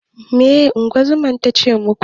Meye ingozuman tace muku?